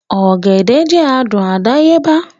Ọ̀gẹ̀dẹ̀ jẹ́ adùn àdáyébá